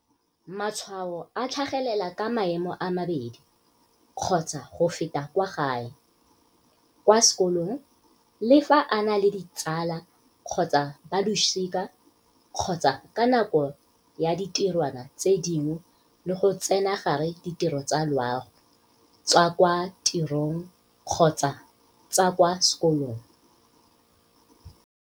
"Matshwao a tlhagelela ka maemo a mabedi kgotsa go feta kwa gae, kwa sekolong, le fa a na le ditsala kgotsa balosika kgotsa ka nako ya ditirwana tse dingwe le go tsenagare ditiro tsa loago, tsa kwa tirong kgotsa tsa kwa sekolong."